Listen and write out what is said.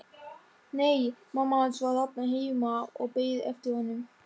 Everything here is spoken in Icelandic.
Nei, mamma hans var þarna heima og beið eftir honum.